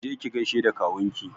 Je ki gaishe da kawunki!